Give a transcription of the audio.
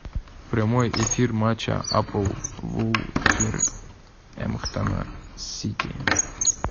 прямой эфир матча апл вулверхэмптона с сити